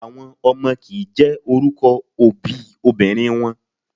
Àwọn ọmọ kìí jẹ́ orúkọ òbí obìnrin wọn.